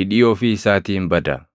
hidhii ofii isaatiin bada.